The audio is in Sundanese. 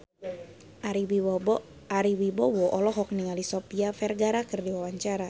Ari Wibowo olohok ningali Sofia Vergara keur diwawancara